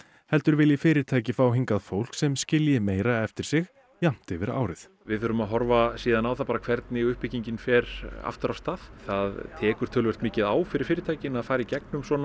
heldur vilji fyrirtæki fá hingað fólk sem skilji meira eftir sig jafnt yfir árið við þurfum að horfa síðan á það hvernig uppbyggingin fer aftur af stað það tekur töluvert mikið á fyrir fyrirtæki að fara í gegnum svona